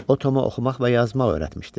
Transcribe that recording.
O Toma oxumaq və yazmaq öyrətmişdi.